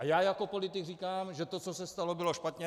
A já jako politik říkám, že to, co se stalo, bylo špatně.